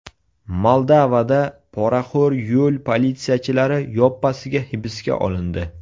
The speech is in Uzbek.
Moldovada poraxo‘r yo‘l politsiyachilari yoppasiga hibsga olindi.